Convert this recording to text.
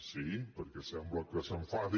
sí perquè sembla que s’enfadi